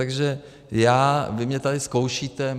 Takže já... vy mě tady zkoušíte.